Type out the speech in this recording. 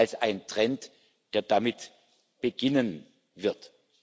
als einen Trend, der damit beginnen wird.